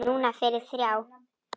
Núna fyrir þrjá.